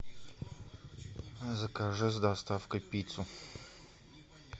закажи с доставкой пиццу